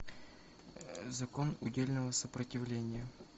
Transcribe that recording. закон удельного сопротивления